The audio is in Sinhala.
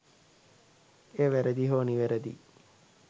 එය වැරැදි හෝ නිවැරදි යි